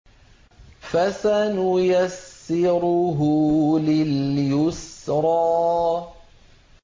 فَسَنُيَسِّرُهُ لِلْيُسْرَىٰ